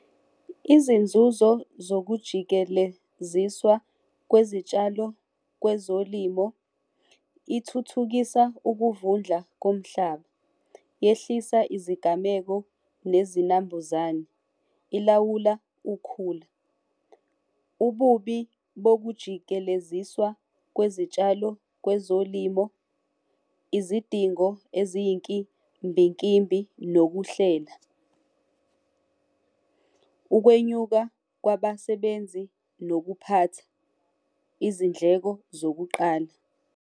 Izinzuzo zokujikeleziswa kwezitshalo kwezolimo ithuthukisa ukuvundla komhlaba, yehlisa izigameko nezinambuzane, ilawula ukhula. Ububi bokujikeleziswa kwezitshalo kwezolimo, izidingo eziyinkimbinkimbi nokuhlela. Ukwenyuka kwabasebenzi nokuphatha, izindleko zokuqala.